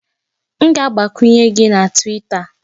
M ga-agbakwunye gị na Twita